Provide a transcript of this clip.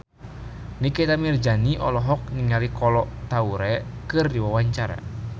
Nikita Mirzani olohok ningali Kolo Taure keur diwawancara